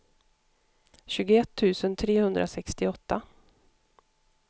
tjugoett tusen trehundrasextioåtta